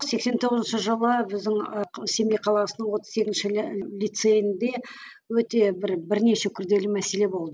сексен тоғызыншы жылы біздің ы семей қаласының отыз сегізінші лицейінді өте бір бірнеше күрделі мәселе